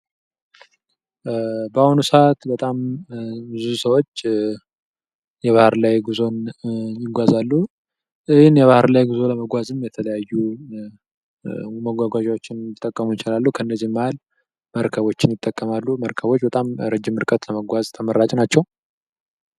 በአሁኑ ሰዓት በጣም ብዙ ሰዎች የባህር ላይ ጉዞን ይጓዛሉ ። ይህን የባህር ላይ ጉዞ ለመጓዝም እየተለያዩ መጓጓዣዎችን ሊጠቀሙ ይችላሉ ከነዚህ መሃል መርከቦችን ይጠቀማሉ ። መርከቦች በጣም ረጅም ርቀት ለመጓዝ ተመራጭ ናቸው ።